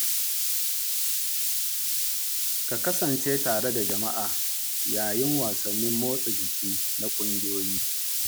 Ka kasance tare da jama’a yayin wasannin motsa jiki na ƙungiyoyi.